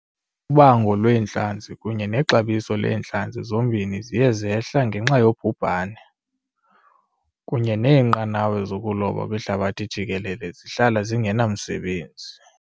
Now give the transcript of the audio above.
Ubango lwentlanzi kunye nexabiso leentlanzi zombini ziye zehla ngenxa yobhubhani, kunye neenqanawa zokuloba kwihlabathi jikelele zihlala zingenamsebenzi.